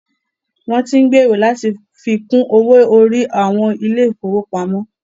Wọn tí ń gbèrò láti fi kún owó orí àwọn ilé ìfọwọ́pamo.